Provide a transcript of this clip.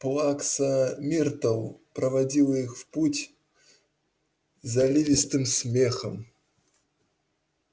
плакса миртл проводила их в путь заливистым смехом